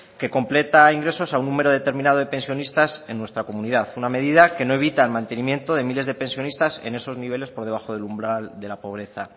que completa ingresos a un número determinados de pensionistas en nuestra comunidad una medida que no evita el mantenimiento de miles de pensionistas por debajo de ese umbral de pobreza